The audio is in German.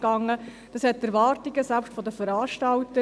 Dies übertraf selbst die Erwartungen der Veranstalter.